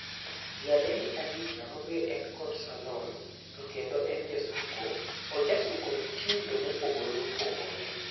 Nyadendi Aisha ma be en kod Salon to kendo en ja suko ojasuko mitindo mopogore opogore.